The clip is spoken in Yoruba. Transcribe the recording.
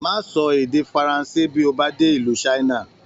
Má sọ èdè Faransé bí o bá dé ìlú China.